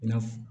I n'a fɔ